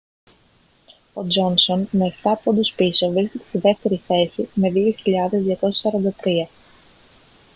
ο τζόνσον με εφτά πόντους πίσω βρίσκεται στη δεύτερη θέση με 2.243